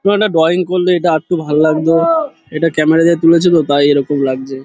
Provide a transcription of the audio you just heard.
ওখানে ড্রয়িং এটা আরেকটু ভালো লাগতো এটা ক্যামেরা দিয়ে তুলেছে তো তাই এরকম লাগছে।